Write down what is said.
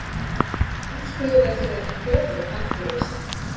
Samstöðuleysi tefur endurreisn